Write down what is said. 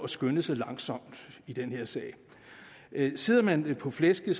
skynde sig langsomt i den her sag sidder man på flæsket